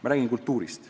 Ma räägin kultuurist.